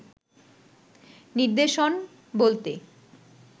নির্দেশন বলতে